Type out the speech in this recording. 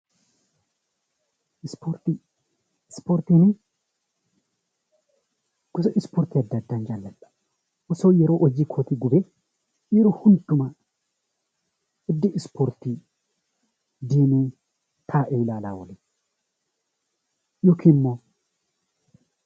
Ispoortii Ispoortiin, gosa ispoortii addaa addaa jaaladha. Osoon yeroo koo gubee yeroo hundumaa iddoo ispoortii deemee taa'ee ilaalaa oolee yookiin immoo